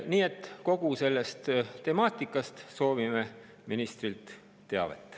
Nii et kogu selle temaatika kohta soovime ministrilt teavet.